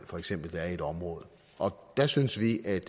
for eksempel er i et område og der synes vi at